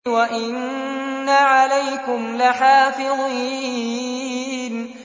وَإِنَّ عَلَيْكُمْ لَحَافِظِينَ